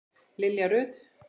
Lilja Rut.